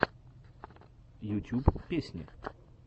ютюб песни